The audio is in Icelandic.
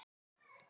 Þrjú stig í hús